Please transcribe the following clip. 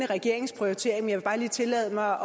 regeringens prioritering jeg vil bare lige tillade mig